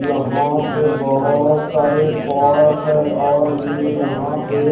यहां पे बहुत सारे पॉट्स है और उनमें यहां पे --